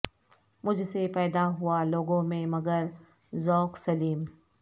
مجھ سے پیدا ہوا لوگوں میں مگر ذوق سلیم